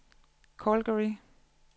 Calgary